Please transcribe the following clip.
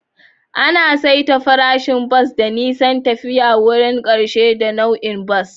Ana saita farashin bas ta nisan tafiya, wurin ƙarshe, da nau'in bas.